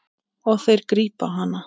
Og þeir grípa hana.